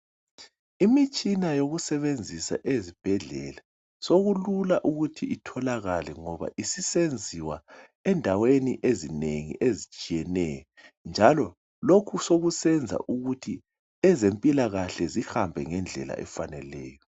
Imitshina eyokusebenzisa ezibhedlela sokulula ukuthi itholakale ngoba isisenziwa endaweni ezinengi ezitshiyeneyo njalo lokhu sekusenza ukuthi ezempilakahle zihambe ngendlela efaneleyo.